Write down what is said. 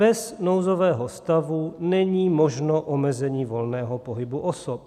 Bez nouzového stavu není možné omezení volného pohybu osob.